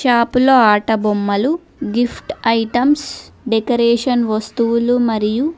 shop లో ఆట బొమ్మలు గిఫ్ట్ ఐటమ్స్ డెకరేషన్ వస్తువులు మరియు--